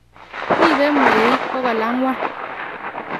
ribei mweik 400